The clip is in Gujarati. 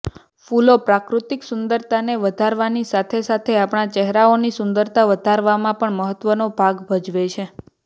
ફૂલો પ્રાકૃતિક સુંદરતાને વધારવાની સાથે સાથે આપણા ચહેરાની સુંદરતા વધારવામાં પણ મહત્ત્વનો ભાગ ભજવે છે